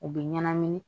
U bɛ ɲɛnamini